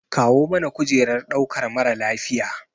Kawo mana kujerar ɗaukar mara lafiya.